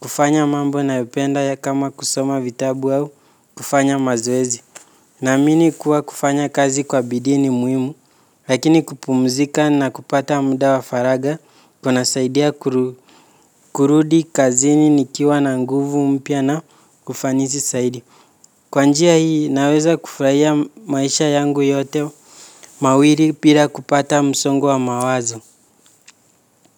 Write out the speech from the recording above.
kufanya mambo nayopenda kama kusoma vitabu au kufanya mazoezi. Naamini kuwa kufanya kazi kwa bidii ni muhimu lakini kupumzika na kupata muda wa faragha kunasaidia kurudi kazini nikiwa na nguvu mpya na ufanisi zaidi. Kwa njia hii naweza kufurahia maisha yangu yote mawili bira kupata msongo wa mawazo.